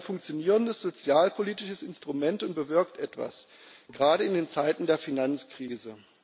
Progress ist es ein funktionierendes sozialpolitisches Instrument und bewirkt etwas gerade in den Zeiten der Finanzkrise.